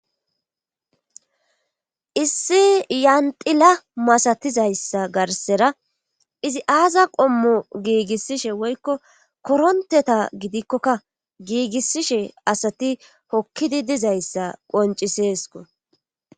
issi yandila masatizayssa garsera izi aaza qommo giigissishe woykko koronteta gidikkokka giigissishe asati hokkidi dizayssa qonciseesko